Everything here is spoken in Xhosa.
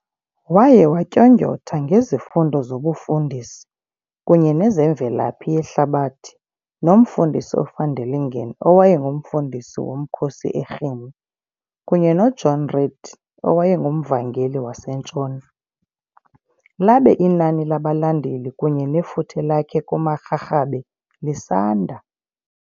Waye watyondyotha ngezifundo zobufundisi kunye nezemvelaphi yehlabathi noMfundisi uVanderlingen owayenguMfundisi womkhosi eRhini kunye noJohn Read awayenguMvangeli wasentshona, labe inani labalandeli kunye nefuthe lakhe kumaRharhabe lisanda.